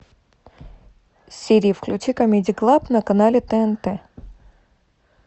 сири включи камеди клаб на канале тнт